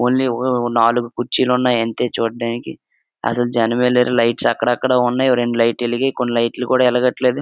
Only ఓ నాలుగు కుర్చిలున్నాయి. అంతే చూడ్డానికి అసలు జనమే లేరు. లైట్స్ అక్కడక్కడా ఉన్నాయి. అవి రెండు లైట్లు ఎలిగాయి. కొన్ని లైట్లు కూడా ఎలగట్లేదు.